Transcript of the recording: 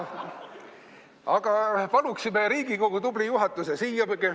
Paluksime Riigikogu tubli juhatuse siia.